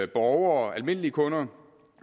borgere almindelige kunder